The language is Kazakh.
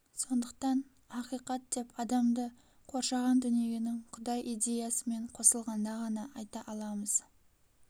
сондықтан ақиқат деп адамды коршаған дүниенің құдай идеясымен қосылғанда ғана айта аламыз